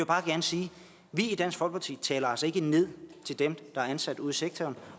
bare gerne sige at vi i dansk folkeparti altså taler ned til dem der er ansat ude i sektoren